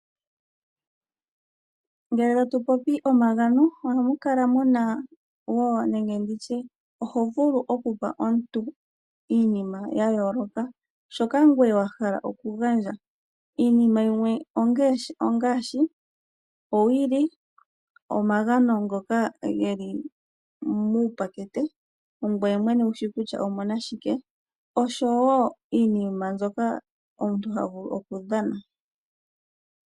Ngele tatu popi omagano ohamu kala muna wo nenge nditye, oho vulu okupa omuntu iinima ya yooloka. Shoka ngweye wa hala okugandja. Iinima yimwe ongaashi owili, omagano ngoka geli muukapakete ongweye mwene ushi kutya omu na shike, oshowo iinima mbyoka omuntu ha vulu okudhana.